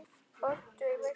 Böddi í Vigur.